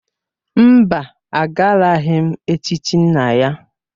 Mba, agaraghị m echichi nna ya.